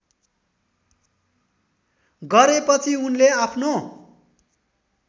गरेपछि उनले आफ्नो